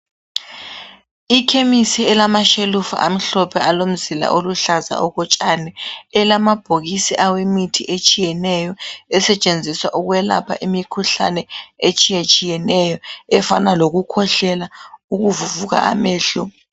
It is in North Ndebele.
Ikhemisi elamashelufu amhlophe alomzila oluhlaza okotshani elamabhokisi awemithi etshiyeneyo esetshenziswa ukwelapha imikhuhlane etshiyatshiyeneyo efana lokukhwehlela, ukuvuvuka amehlo.